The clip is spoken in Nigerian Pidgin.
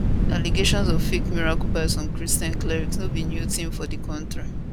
allegations of fake miracles by some christian clerics no be new tin for di kontri